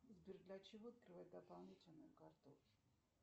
сбер для чего открывать дополнительную карту